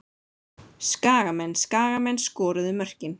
Skagamenn Skagamenn skoruðu mörkin.